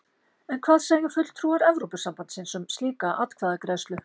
En hvað segja fulltrúar Evrópusambandsins um slíka atkvæðagreiðslu?